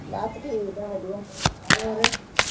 ਬਸ ਠੀਕ ਆ ਵਧਿਆ ਹੋਰ